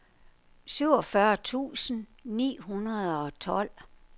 syvogfyrre tusind ni hundrede og tolv